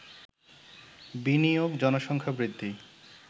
বিনিয়োগ, জনসংখ্যা বৃদ্ধি